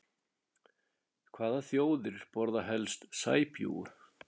Hvaða þjóðir borða helst sæbjúgu?